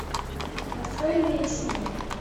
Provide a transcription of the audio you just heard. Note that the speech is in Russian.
открой вечные